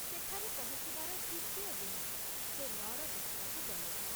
ସେଠାରେ ପହଞ୍ଚିବାର ଦ୍ବିତୀୟ ଦିନ ସେ ନଅର ଦେଖିବାକୁ ଗଲେ।